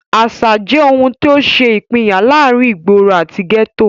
Àsà jẹ́ ohun tó ṣe ìpínyà láàrin ìgboro àti gẹ́tò.